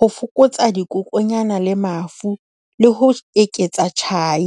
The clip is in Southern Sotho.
Ho fokotsa dikokonyana le mafu le ho eketsa tjhai.